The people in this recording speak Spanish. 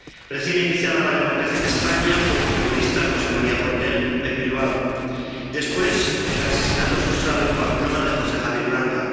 Recién iniciada la democracia en España, fue asesinado un periodista, José María Portell, en Bilbao. Después se produjo el asesinato frustrado en Pamplona de José Javier Uranga.